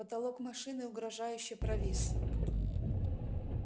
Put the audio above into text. потолок машины угрожающе провис